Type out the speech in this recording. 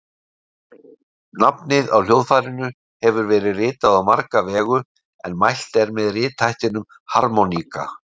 Nafnið á hljóðfærinu hefur verið ritað á marga vegu en mælt er með rithættinum harmóníka.